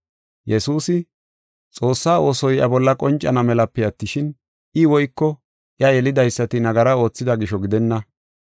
Yesuusi, “Xoossaa oosoy iya bolla qoncana melape attishin, I woyko iya yelidaysati nagara oothida gisho gidenna.